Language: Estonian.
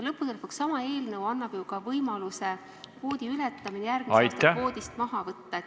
Lõppude lõpuks, sama eelnõu annab ju ka võimaluse kvoodi ületamine järgmise aasta kvoodist maha võtta.